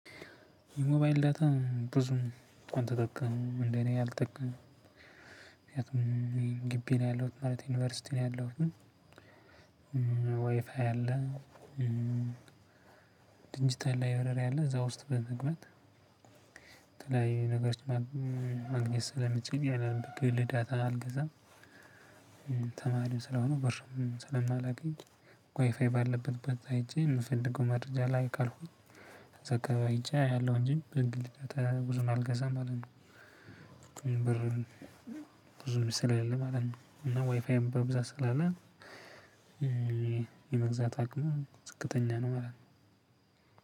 የሞባይል ዳታ ብዙም አልተጠቀሙም እንደኔ አልጠቀምም ምክንያቱም ግቢ ነው ያለሁት ማለት ዩኒቨርሲቲ ነው ያለሁት። ወይፋይ አለ። ድጅታል ላይብረሪ አለ እዛ ውስጥ በመግባት የተለያየ ነገሮች ማግኘት ስለምችል ያንን የጥቅል ዳታ አልገዛም። ተማሪም ስለሆንሁ ብርም ስለማላገኝ ዋይፋይ ባለበት በዛ ሄጄ የምፈልገው መረጃ ላይ ካልኩኝ። እዛ አከባቢ ሄጄ አያለሁ እንጂ የግል ዳታ ብዙም አልገዛም ማለት ነው። ብርም ብዙ ስለሌለኝ ማለት ነው። እና ዋይፋይም በብዛት ስላለ። የመግዛት አቅሙ ዝቅተኛ ነው ማለት ነው።